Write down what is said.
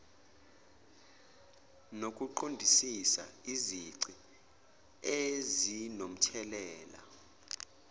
nokuqondisisa izici ezinomthelela